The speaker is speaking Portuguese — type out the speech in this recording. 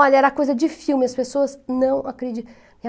Olha, era coisa de filme, as pessoas não